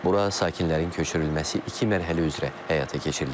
Bura sakinlərin köçürülməsi iki mərhələ üzrə həyata keçiriləcək.